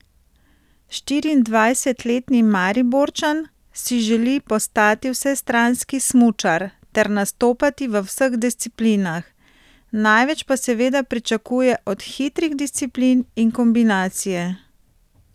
Štiriindvajsetletni Mariborčan si želi postati vsestranski smučar ter nastopati v vseh disciplinah, največ pa seveda pričakuje od hitrih disciplin in kombinacije.